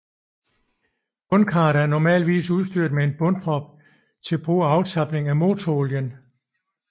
Bundkarret er normalvis udstyret med en bundprop til brug for aftapning af motorolien